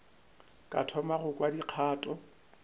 ka thoma go kwa dikgato